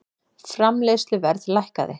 Framleiðsluverð lækkaði